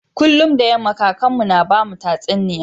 Kullun da yama kakan mu na bamu tatsuniya.